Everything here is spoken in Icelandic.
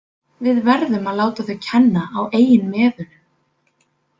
Við verðum að láta þau kenna á eigin meðölum.